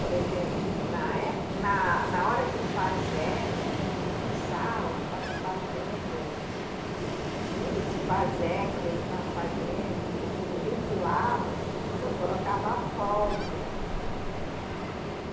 Por exemplo, na épo, na, na hora que o pajé, né, o tuxaua, estava fazendo, junto com o pajé, quando eles estavam fazendo o ri, ritual, né, eu colocava pólvora. E